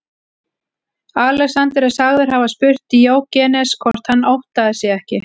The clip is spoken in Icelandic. Alexander er sagður hafa spurt Díógenes hvort hann óttaðist sig ekki.